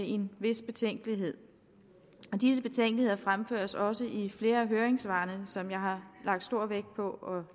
en vis betænkelighed disse betænkeligheder fremføres også i flere af høringssvarene som jeg har lagt stor vægt på